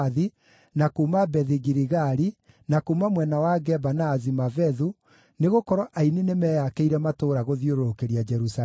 na kuuma Bethi-Giligali, na kuuma mwena wa Geba na Azimavethu, nĩgũkorwo aini nĩmeyakĩire matũũra gũthiũrũrũkĩria Jerusalemu.